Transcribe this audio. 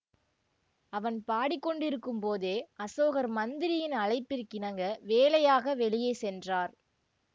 அவன் பாடிக்கொண்டிருக்கும் போதே அசோகர் மந்திரியின் அழைப்பிற்கிணங்க வேலையாக வெளியே சென்றார்